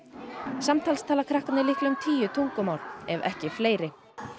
samtals tala krakkarnir líklega um tíu tungumál ef ekki fleiri